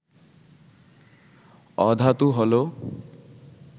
অধাতু হল